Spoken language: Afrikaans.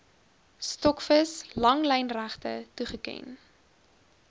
stokvis langlynregte toegeken